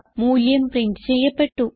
മൂല്യം പ്രിന്റ് ചെയ്യപ്പെട്ടു